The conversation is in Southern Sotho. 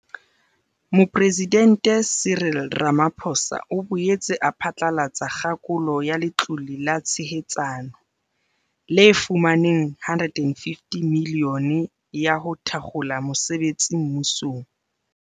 Mopresidente Cyril Rama-phosa o boetse a phatlalatsa kgakolo ya Letlole la Tshehetsano, le fumaneng R150 milione ya ho thakgola mosebetsi mmusong.